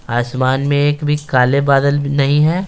आसमान में एक भी काले बादल नहीं है।